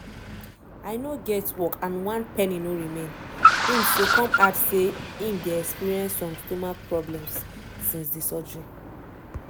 "i no get work and one penny no remain" im say come add say im dey experience some stomach problems since di surgery.